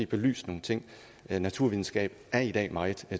belyst nogle ting naturvidenskab er i dag meget